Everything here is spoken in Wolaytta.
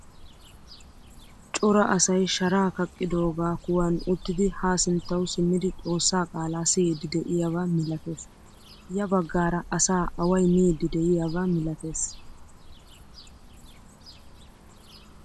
Cora asay sharaa kaqidoga kuwan uttidi ha sinttawu simidi xoossaa qaala siyidi deiyaba milatees. Ya baggaara asaa away miidi deiyaba milatees.